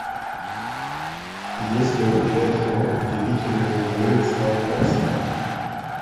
есть ли у тебя кино удивительные миры циолковского